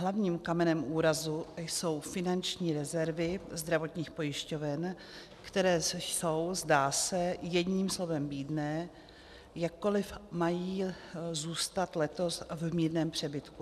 Hlavním kamenem úrazu jsou finanční rezervy zdravotních pojišťoven, které jsou, zdá se, jedním slovem bídné, jakkoliv mají zůstat letos v mírném přebytku.